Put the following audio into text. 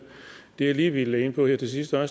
det jeg lige ville ind på her til sidst er